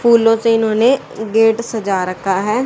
फूलों से इन्होंने गेट सजा रखा है।